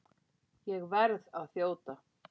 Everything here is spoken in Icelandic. Ég verð að þjóta.